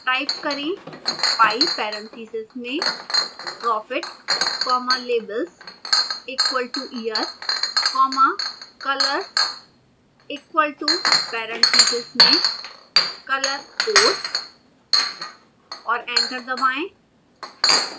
type करें pie parentheses में profit comma labels equal to year comma colors equal to parentheses में color codes और enter दबाएं